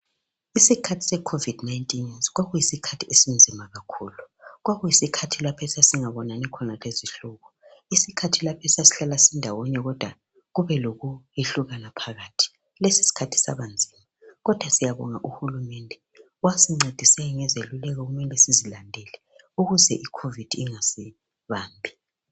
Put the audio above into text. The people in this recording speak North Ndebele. Isikhathi se COVID 19 kwakuyisikhathi esinzima kakhulu. Kwakuyisikhathi lapho esasingabonani khona lezihlobo, isikhathi lapho esasihlala ndawonye kodwa kube lokwehlukana phakathi, lesiskhathi sabanzima kodwa siyabonga uhulumende wasincedisa ngezeluleko okumele sizilandele ukuze iCOVID ingasibambi.